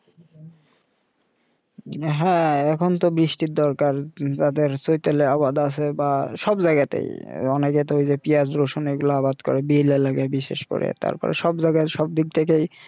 হ্যাঁ এখন তো বৃষ্টির দরকার তাদের চৈতালি আবাদ আছে বা সব জায়গাতে অনেক তো ওইযে পিয়াজ রসুন এগুলো আবাদ করবে বিয়েলগে বিশেষ করে তারপরে সব জায়গায় সব দিক থেকে